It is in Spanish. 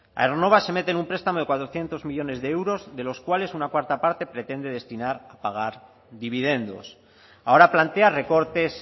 aernova se mete en un prestamo de cuatrocientos millónes de euros de los cuales una cuarta parte pretende destinar pagar dividendos ahora plantea recortes